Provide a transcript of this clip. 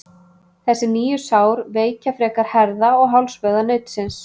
Þessi nýju sár veikja frekar herða- og hálsvöðva nautsins.